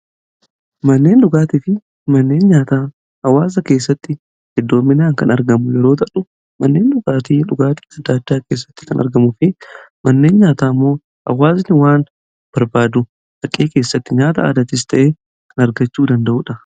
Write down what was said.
manneen dhugaatii fi manneen nyaataa awaasa keessatti eddoo minaan kan argamu yeroo tadhu manneen dhugaatii dhugaatii sadaachaa keessatti kan argamufi manneen nyaataa immoo awaazni waan barbaadu haqee keessatti nyaata aadatis ta'ee kan argachuu danda'uudha